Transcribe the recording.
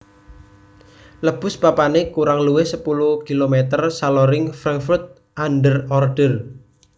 Lebus papané kurang luwih sepuluh km saloring Frankfurt an der Oder